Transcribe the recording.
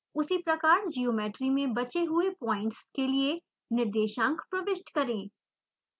उसी प्रकार ज्योमेट्री में बचे हुए पॉइंट्स के लिए निर्देशांक प्रविष्ट करें